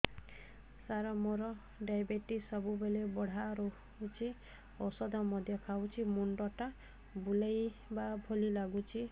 ସାର ମୋର ଡାଏବେଟିସ ସବୁବେଳ ବଢ଼ା ରହୁଛି ଔଷଧ ମଧ୍ୟ ଖାଉଛି ମୁଣ୍ଡ ଟା ବୁଲାଇବା ଭଳି ଲାଗୁଛି